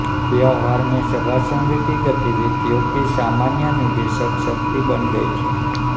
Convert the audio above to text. व्यवहार में सभा संघ की गतिविधियों की सामान्य निदेशक शक्ति बन गई थी